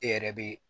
E yɛrɛ be